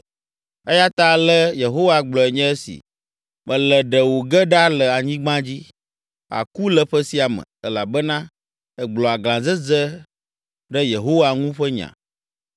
Eya ta ale Yehowa gblɔe nye esi: ‘Mele ɖe wò ge ɖa le anyigba dzi. Àku le ƒe sia me, elabena ègblɔ aglãdzedze ɖe Yehowa ŋu ƒe nya.’ ”